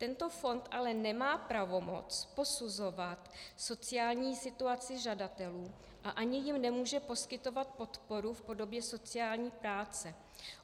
Tento fond ale nemá pravomoc posuzovat sociální situaci žadatelů a ani jim nemůže poskytovat podporu v podobě sociální práce.